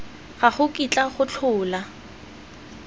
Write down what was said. ga go kitla go tlhola